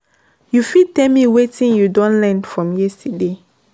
you fit tell me wetin you don learn from yesterday?